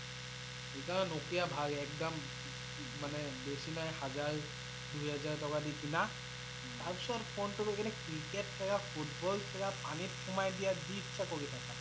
সেইকাৰণে Nokia ভাল একদম মানে বেছি নহয় হাজাৰ দুই হাজাৰ টকা দি কিনা, তাৰ পিছত ফোনটো লৈ কিনে Cricket খেলা Football খেলা পানীত সোমাই দিয়া, জি ইচ্ছা কৰি থকা ।